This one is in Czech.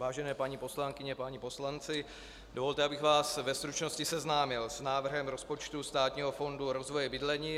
Vážené paní poslankyně, páni poslanci, dovolte, abych vás ve stručnosti seznámil s návrhem rozpočtu Státního fondu rozvoje bydlení.